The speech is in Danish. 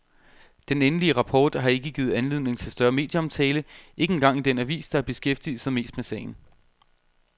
Den endelige rapport har ikke givet anledning til større medieomtale, ikke engang i den avis, der har beskæftiget sig mest med sagen.